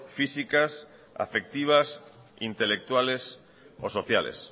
físicas afectivas intelectuales o sociales